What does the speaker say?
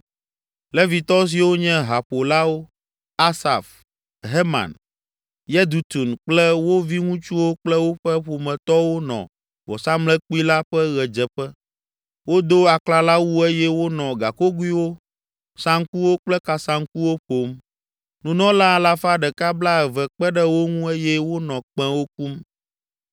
Levitɔ siwo nye haƒolawo, Asaf, Heman, Yedutun kple wo viŋutsuwo kple woƒe ƒometɔwo nɔ vɔsamlekpui la ƒe ɣedzeƒe, wodo aklalawu eye wonɔ gakogoewo, saŋkuwo kple kasaŋkuwo ƒom. Nunɔla alafa ɖeka blaeve (120) kpe ɖe wo ŋu eye wonɔ kpẽwo kum.